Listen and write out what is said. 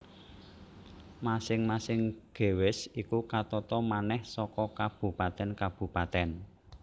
Masing masing gewest iku katata manèh saka kabupatèn kabupatèn